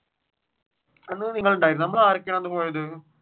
അന്ന് നിങ്ങൾ ഉണ്ടായിരുന്നോ നമ്മൾ ആരൊക്കെയാണ് അന്ന് പോയത്?